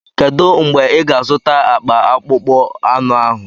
Kedu mgbe ị ga-azụta akpa akpụkpọ anụ ahụ?